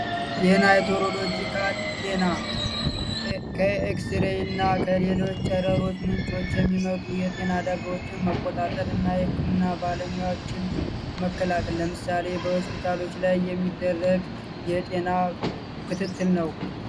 የናይቶሮሎጂካል ጤና ከኤክስሬይ እና ከሌሎዎች ጨረሮች ምንጮች የሚመጡ የጤና አደጋዎችን መቆጣጠር እና ህክምና ባለሙችን መከላክን ለምሳሌ በሆስፒታሎች ላይ የሚደረግ የጤና ክትትል ነው።